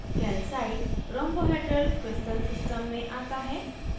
calcite rhombohedral crystal system me aata है